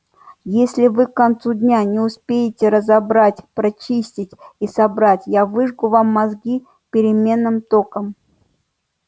если вы к концу дня не успеете разобрать прочистить и собрать я выжгу вам мозги переменным током